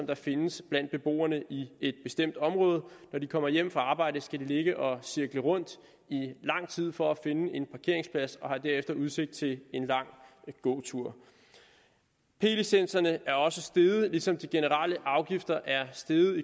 der findes blandt beboerne i et bestemt område når de kommer hjem fra arbejde skal de ligge og cirkle rundt i lang tid for at finde en parkeringsplads og har derefter udsigt til en lang gåtur p licenserne er også steget i københavn ligesom de generelle afgifter er steget